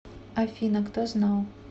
афина кто знал